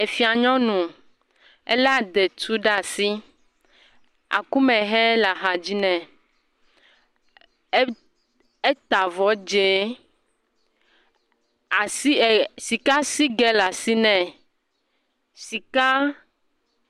Efia nyɔnu, elé adetu ɖe asi, akumehɛ le axadzi nɛ, eta avɔ dze, asi sikasigɛ le asi nɛ, sika…